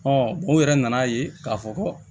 u yɛrɛ nan'a ye k'a fɔ ko